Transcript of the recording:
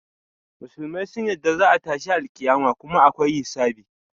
Musulmai sun yarda za a yi tashin alƙiyama kuma akwai hisabi.